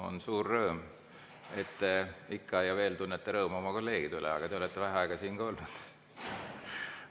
On suur rõõm, et te ikka ja veel tunnete rõõmu oma kolleegide üle, aga te olete ka vähe aega siin olnud.